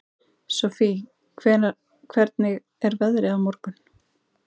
Sofie, hvernig er veðrið á morgun?